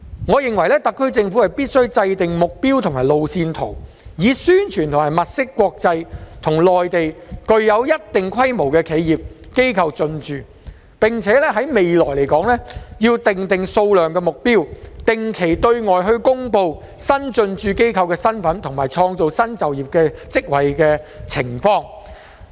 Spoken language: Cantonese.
我認為特區政府必須制訂目標和路線圖，以宣傳及物色國際與內地具有一定規模的企業機構進駐，並且在未來要訂定數量和目標，定期對外公布新進駐機構的身份及創造新就業職位的情況。